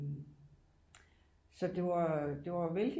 Så det var det var vældigt